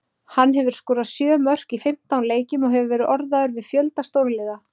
Hann hefur skorað sjö mörk í fimmtán leikjum og hefur verið orðaður við fjölda stórliða.